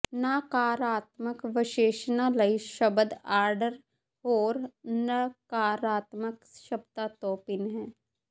ਨਕਾਰਾਤਮਕ ਵਿਸ਼ੇਸ਼ਣਾਂ ਲਈ ਸ਼ਬਦ ਆਰਡਰ ਹੋਰ ਨਕਾਰਾਤਮਕ ਸ਼ਬਦਾਂ ਤੋਂ ਭਿੰਨ ਹੈ